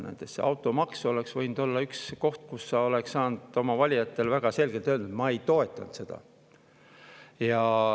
Näiteks automaks oleks võinud olla üks asi, mille kohta sa oleks saanud oma valijatele väga selgelt öelda, et sa ei toetanud seda.